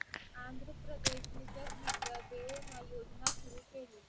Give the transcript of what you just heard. आंध्रप्रदेशने जगविद्या दीवेना योजना सुरू केली.